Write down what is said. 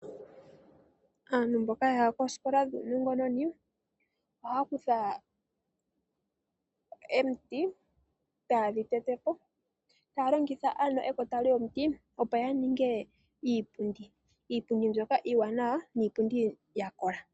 Aantu mboka yaya kooskola dhuunongononi ohaya kutha omiti etayedhi tete po etaya longitha ekota lyomuti opo yaninge iipundi. Iipundi mbyoka iiwanawa noyakola.